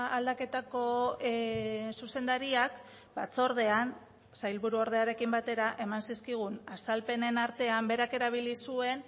aldaketako zuzendariak batzordean sailburu ordearekin batera eman zizkigun azalpenen artean berak erabili zuen